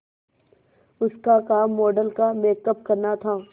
उसका काम मॉडल का मेकअप करना था